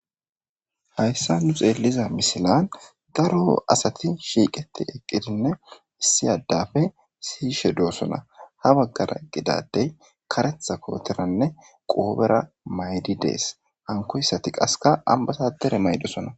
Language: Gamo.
Haysa nu xeeliza misilen daro asati shiqetid eqidinne issi adappe sigishe dosona ha bagara eqida adey karetha kooteranne qobera mayidi de'es,hankoysati qasika ambasadere mayidosona